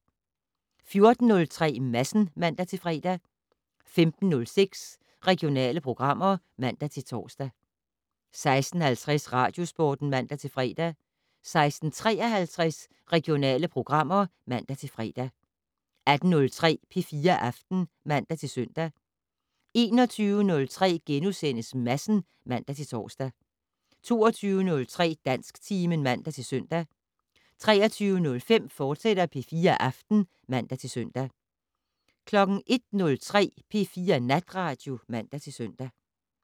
14:03: Madsen (man-fre) 15:06: Regionale programmer (man-tor) 16:50: Radiosporten (man-fre) 16:53: Regionale programmer (man-fre) 18:03: P4 Aften (man-søn) 21:03: Madsen *(man-tor) 22:03: Dansktimen (man-søn) 23:05: P4 Aften, fortsat (man-søn) 01:03: P4 Natradio (man-søn)